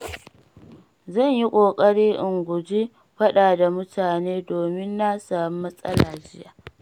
Zan yi ƙoƙari in guji faɗa da mutane domin na samu matsala jiya.